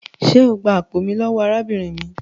Ṣé o gbà àpò mí lówó arábìnrin mí?